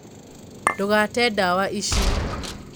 Ndũgate ndawa ici